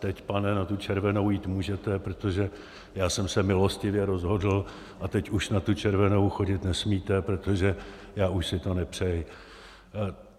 Teď, pane, na tu červenou jít můžete, protože já jsem se milostivě rozhodl, a teď už na tu červenou chodit nesmíte, protože já už si to nepřeji.